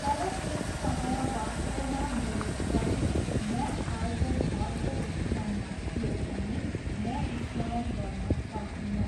तर त्यस समय वास्तवमा मेरो शरीर म आएको घरको ओच्छ्यानमा थियो भन्ने म स्मरण गर्न सक्दिनँ।